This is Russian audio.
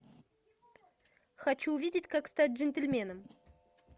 хочу увидеть как стать джентльменом